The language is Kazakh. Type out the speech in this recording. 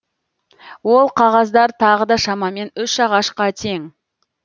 ол қағаздар тағы да шамамен үш ағашқа тең